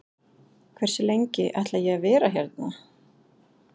Hversu lengi ætla ég að vera hérna?